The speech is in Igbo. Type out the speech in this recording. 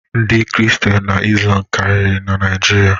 Ndị kristian na izlam karịrị na Naijiria